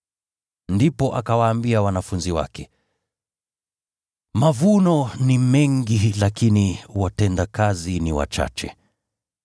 Ndipo akawaambia wanafunzi wake, “Mavuno ni mengi lakini watendakazi ni wachache.